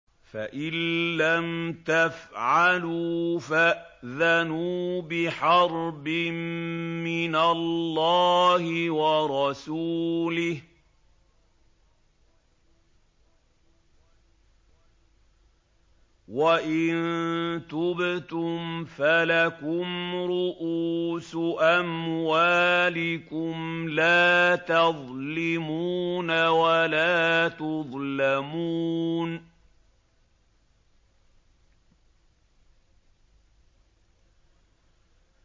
فَإِن لَّمْ تَفْعَلُوا فَأْذَنُوا بِحَرْبٍ مِّنَ اللَّهِ وَرَسُولِهِ ۖ وَإِن تُبْتُمْ فَلَكُمْ رُءُوسُ أَمْوَالِكُمْ لَا تَظْلِمُونَ وَلَا تُظْلَمُونَ